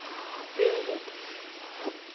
фиолетовый